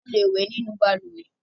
A le wẹ̀ nínú balùwẹ́